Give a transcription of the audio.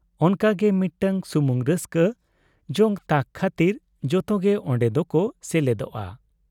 ᱚᱱᱟᱜᱮ ᱢᱤᱫᱴᱟᱝ ᱥᱩᱢᱤᱩᱝ ᱨᱟᱹᱥᱠᱟ, ᱡᱚᱝ ᱛᱟᱠ ᱠᱷᱟᱹᱛᱤᱨ ᱡᱚᱛᱚᱜᱮ ᱚᱱᱰᱮ ᱫᱚ ᱠᱚ ᱥᱮᱞᱮᱫᱚᱜᱼᱟ ᱾